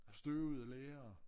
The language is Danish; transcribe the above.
Støvede lærere